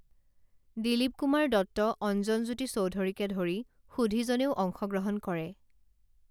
দিলীপ কুমাৰ দত্ত অঞ্জনজ্যোতি চৌধুৰীকে ধৰি সুধীজনেও অংশগ্ৰহণ কৰে